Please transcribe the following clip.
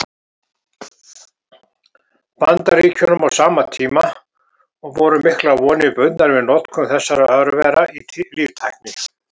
Bandaríkjunum á sama tíma, og voru miklar vonir bundnar við notkun þessara örvera í líftækni.